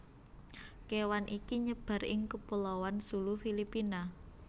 kewan iki nyebar ing kepulauan Sulu Filipina